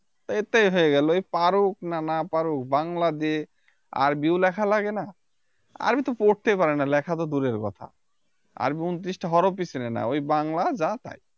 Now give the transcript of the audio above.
তাই এতেই হয়ে গেলো এ পারুক বা না পারুক বাংলা দিয়ে আরবীও লেখা লাগে না আরবি তো পড়তে পারে না লেখাতো দূরের কথা আরবি ঊনত্রিশটা হরফ ই চিনেনা ওই বাংলা যা তাই